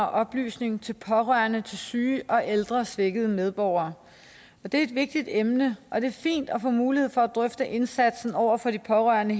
og oplysning til pårørende til syge og ældre svækkede medborgere det er et vigtigt emne og det er fint at få mulighed for at drøfte indsatsen over for de pårørende